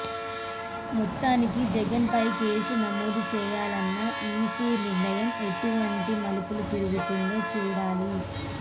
మొత్తానికి జగన్ పై కేసు నమోదు చేయాలన్న ఈసీ నిర్ణయం ఎటువంటి మలుపులు తిరుగుతుందో చూడాలి